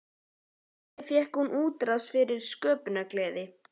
Þannig fékk hún útrás fyrir sína sköpunargleði.